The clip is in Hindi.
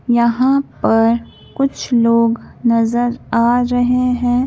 यहाँ पर कुछ लोग नजर आ रहे हैं।